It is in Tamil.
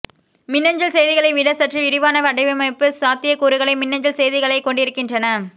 மின்னஞ்சல் செய்திகளை விட சற்று விரிவான வடிவமைப்பு சாத்தியக்கூறுகளை மின்னஞ்சல் செய்திகளைக் கொண்டிருக்கின்றன